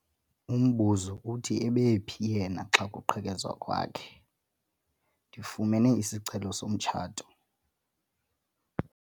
Umbuzo uthi ebephi yena xa kuqhekezwa kwakhe? ndifumene isicelo somtshato